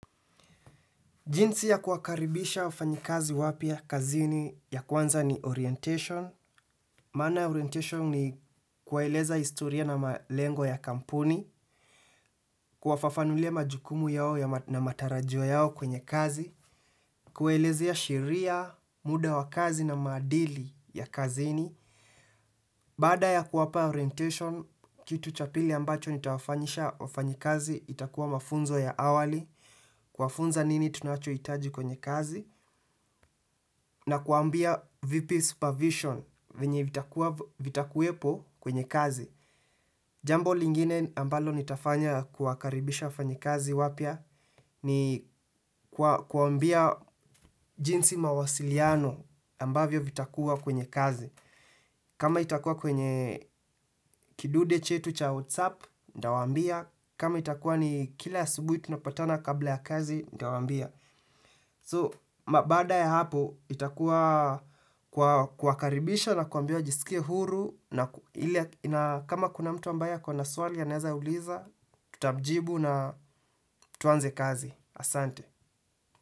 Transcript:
Jinsi ya kuwakaribisha wafanyikazi wapya kazini ya kwanza ni orientation. Maana orientation ni kuwaeleza historia na malengo ya kampuni, kuwafafanulia majukumu yao na matarajio yao kwenye kazi, kuwaelezea ya sheria, muda wa kazi na maadili ya kazini. Baada ya kuwapa orientation, kitu cha pili ambacho nitawafanyisha wafanyikazi itakuwa mafunzo ya awali, kuwafunza nini tunacho itaji kwenye kazi, na kuwambia vipi supervision venye vitakuwepo kwenye kazi. Jambo lingine ambalo nitafanya kuwakaribisha wafanyikazi wapya. Ni kuwambia jinsi mawasiliano ambavyo vitakuwa kwenye kazi. Kama itakuwa kwenye kidude chetu cha WhatsApp, ntawambia kama itakuwa ni kila asubuhi tunapatana kabla ya kazi, ntawambia So, ma baada ya hapo, itakuwa kuwakaribisha na kuwambia wajisikie huru. Kama kuna mtu ambaye ako na swali anaeza uliza, tutamjibu na tuanze kazi. Asante.